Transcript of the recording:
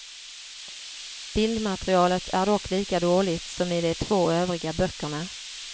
Bildmaterialet är dock lika dåligt som i de två övriga böckerna.